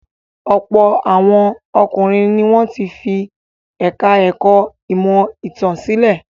Ọ̀pọ̀ àwọn ọkùnrin ni wọ́n fi ẹ̀ka-ẹ̀kọ́ ìmọ̀-ìtàn sílẹ̀.